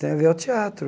Tem a ver ao teatro.